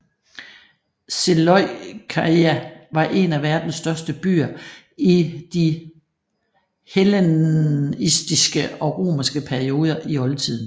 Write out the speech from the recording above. Seleukeia var en af verdens største byer i de hellenistiske og romerske perioder i oldtiden